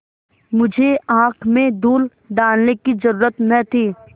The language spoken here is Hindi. मुझे आँख में धूल डालने की जरुरत न थी